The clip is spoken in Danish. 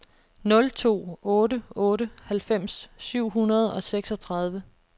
nul to otte otte halvfems syv hundrede og seksogtredive